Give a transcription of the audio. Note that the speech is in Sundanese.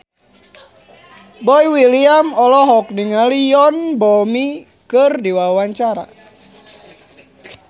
Boy William olohok ningali Yoon Bomi keur diwawancara